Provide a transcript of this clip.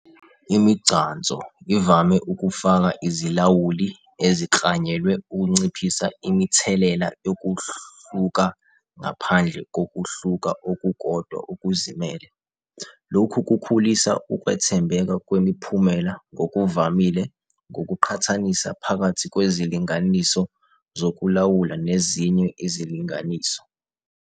ImiGcanso ivame ukufaka izilawuli, eziklanyelwe ukunciphisa imithelela yokuhluka ngaphandle kokuhluka okukodwa okuzimele. Lokhu kukhulisa ukwethembeka kwemiphumela, ngokuvamile ngokuqhathanisa phakathi kwezilinganiso zokulawula nezinye izilinganiso.